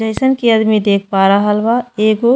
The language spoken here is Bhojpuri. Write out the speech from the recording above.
जइसन के आदमी देख पा रहल बा एगो --